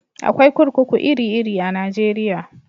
Akwai kurkuku iri iri a Najeriya